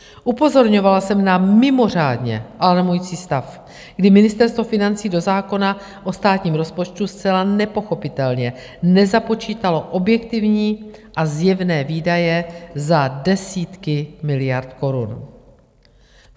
Upozorňovala jsem na mimořádně alarmující stav, kdy Ministerstvo financí do zákona o státním rozpočtu zcela nepochopitelně nezapočítalo objektivní a zjevné výdaje za desítky miliard korun.